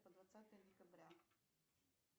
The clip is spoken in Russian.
по двадцатое декабря